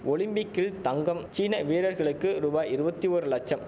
ஒலிம்பிக்கில் தங்கம் சீன வீரர்களுக்கு ரூபாய் இருபத்தி ஓரு லட்சம்